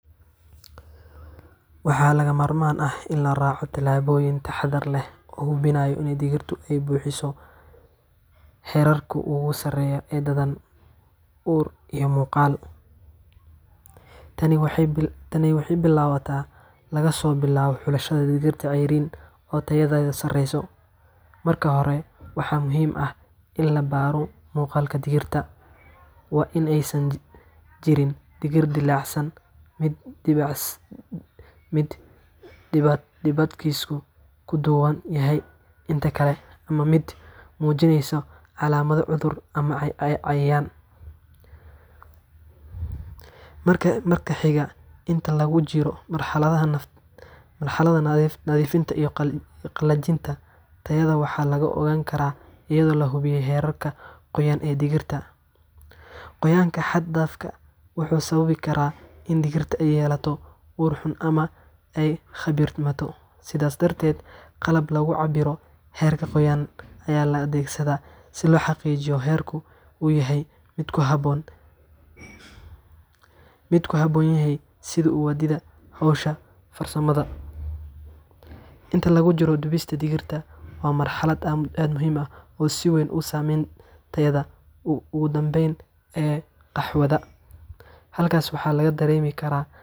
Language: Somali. Waxaa lagama maarmaan ah in la raaco tallaabooyin taxadar leh oo hubinaya in digirtu ay buuxiso heerarka ugu sarreeya ee dhadhan, ur, iyo muuqaal. Tani waxay bilaabataa laga soo bilaabo xulashada digirta ceeriin oo tayadeedu sareyso. Marka hore, waxaa muhiim ah in la baaro muuqaalka digirta waa in aysan jirin digir dillaacsan, mid midabkiisu ka duwan yahay inta kale, ama mid muujinaysa calaamado cudur ama cayayaan. Marka xiga, inta lagu jiro marxaladda nadiifinta iyo qalajinta, tayada waxaa lagu ogaan karaa iyadoo la hubiyo heerka qoyaan ee digirta. Qoyaanka xad-dhaafka ah wuxuu sababi karaa in digirta ay yeelato ur xun ama ay kharribanto. Sidaas darteed, qalab lagu cabbiro heerka qoyaan ayaa la adeegsadaa si loo xaqiijiyo in heerku uu yahay mid ku habboon kaydinta iyo sii wadidda hawsha farsamaynta. Inta lagu jiro dubista digirta, waa marxalad aad u muhiim ah oo si weyn u saameysa tayada ugu dambeysa ee qaxwada. Halkaas waxaa laga dareemi karaa.